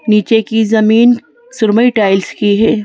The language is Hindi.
नीचे की जमीन सुरमई टाइल्स की है।